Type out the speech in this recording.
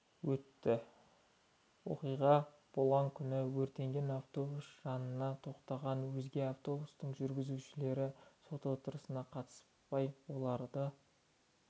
өтті оқиға болған күні өртенген автобус жанына тоқтаған өзге автобустың жүргізушілері сот отырысына қатыспай олардың